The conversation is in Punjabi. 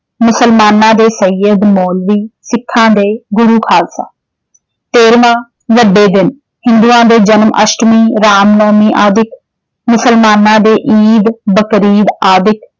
ਮੁਸਲਮਾਨਾਂ ਦੇ ਸੱਯਦ, ਮੌਲੀ ਸਿੱਖਾਂ ਦੇ ਗੁਰੂ ਖਾਲਸਾ। ਤੇਰ੍ਹਵਾਂ ਵੱਡੇ ਦਿਨ ਹਿੰਦੂਆਂ ਦੇ ਜਨਮ ਆਸ਼ਟਮੀ, ਰਾਮ ਨੌਵੀਂ ਆਦਿਕ ਮੁਸਲਮਾਨਾਂ ਦੇ ਈਦ ਬਕਰੀਦ ਆਦਿਕ।